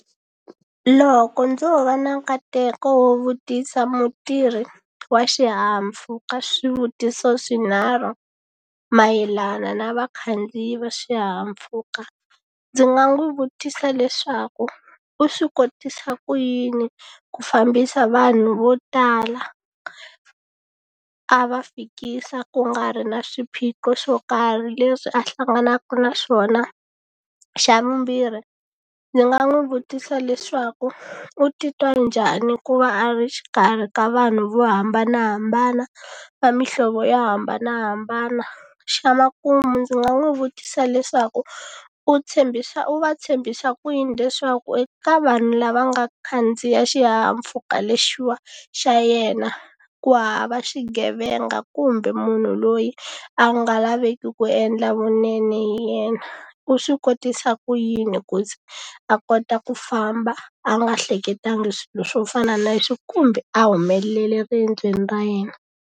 Loko ndzo va na nkateko wo vutisa mutirhi wa swihahampfuka swivutiso swinharhu mayelana na vakhandziyi va swihahampfuka ndzi nga n'wi vutisa leswaku u swi kotisa ku yini ku fambisa vanhu vo tala a va fikisa ku nga ri na swiphiqo swo karhi leswi a hlanganaku na swona xa vumbirhi ndzi nga n'wi vutisa leswaku u titwa njhani ku va a ri exikarhi ka vanhu vo hambanahambana va mihlovo yo hambanahambana xa makumu ndzi nga n'wi vutisa leswaku u tshembisa u va tshembisa ku yini leswaku eka vanhu lava nga khandziya xihahampfhuka lexiwa xa yena ku hava xigevenga kumbe munhu loyi a nga lavi veki ku endla vunene hi yena u swi kotisa ku yini ku ze a kota ku famba a nga hleketangi swilo swo fana na sweswo kumbe a humelele eriendzweni ra yena.